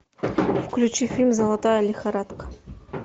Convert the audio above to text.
включи фильм золотая лихорадка